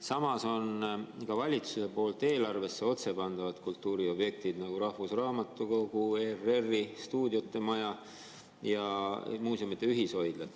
Samas on ka valitsuse poolt eelarvesse otse pandavad kultuuriobjektid, nagu rahvusraamatukogu, ERR‑i stuudiote maja ja muuseumide ühishoidla.